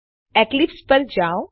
Eclipse પર જાઓ